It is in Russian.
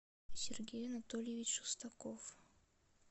сергей анатольевич шестаков